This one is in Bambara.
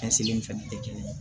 Cɛsiri in fɛnɛ tɛ kelen ye